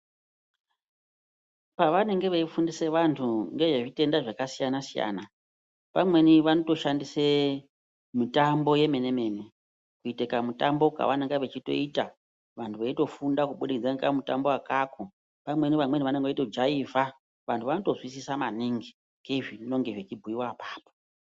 Pavanenge veifundisa vantu ngezvezviyenda zvakasiyana siyana pamweni vanotoshandise mitambo yemene kuite kumitambo kwavanenge veitoita vantu veitofunda kubudikidza ngekamutambo akako, pamweni vamweni vanenge veitojaiva vantu vanotozwisisa maningi nezvinenge zveibhuyiwa apapo.